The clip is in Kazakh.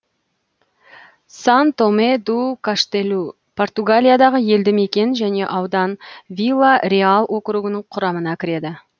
сан томе ду каштелу португалиядағы елді мекен және аудан вила реал округінің құрамына кіреді